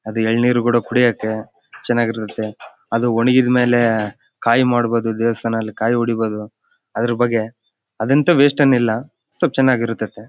ಅದು ಏಳ್ನೀರು ಕೂಡ ಕುಡಿಯಕ್ಕೆ ಚೆನ್ನಾಗ್ ಇರ್ತಾತ್ತೆ ಅದು ಒಣಗಿದ ಮೇಲೆ ಕಾಯಿ ಮಾಡಬಹುದು ದೇವಸ್ಥಾನದಲ್ಲಿ ಕಾಯಿ ಹೊಡುಬಹುದು ಅದರ ಬಗ್ಗೆ ಅದೆಂಥ ವೆಸ್ಟ್ ಏನ್ ಇಲ್ಲ ಸ್ವಲ್ಪ್ ಚೆನ್ನಾಗಿ ಇರುತತ್ತೇ .